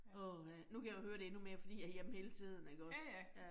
Åha, nu kan jeg jo høre det endnu mere fordi jeg hjemme hele tiden ikke også